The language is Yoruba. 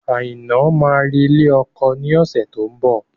Aina máa re ilé ọkọ ni ọ̀sẹ̀ tó ń bọ̀